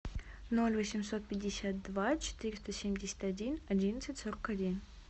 ноль восемьсот пятьдесят два четыреста семьдесят один одиннадцать сорок один